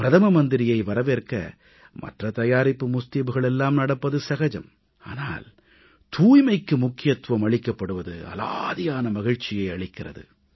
பிரதம மந்திரியை வரவேற்க மற்ற தயாரிப்பு முஸ்தீபுகள் எல்லாம் நடப்பது சகஜம் ஆனால் தூய்மைக்கு முக்கியத்துவம் அளிக்கப்படுவது அலாதியான மகிழ்ச்சி அளிக்கிறது